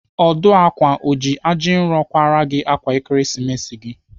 Ọdụ ákwà o ji ajinro kwara gị ákwà Ekeresimesi gị?